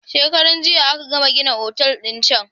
Shekaran jiya aka gama gina otal din can.